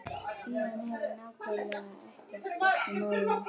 Síðan hefur nákvæmlega ekkert gerst í málinu.